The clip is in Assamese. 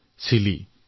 দেশখনৰ নাম হল চিলি